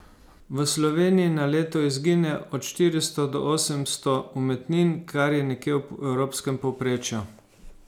V Sloveniji na leto izgine od štiristo do osemsto umetnin, kar je nekje v evropskem povprečju.